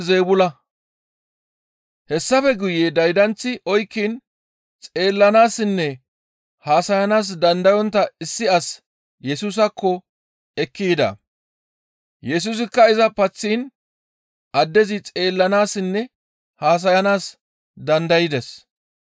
Hessafe guye daydanththi oykkiin xeellanaassinne haasayanaas dandayontta issi as Yesusaakko ekki yida. Yesusikka iza paththiin addezi xeellanaassinne haasayanaas dandaydes.